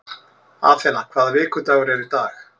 Athena, hvaða vikudagur er í dag?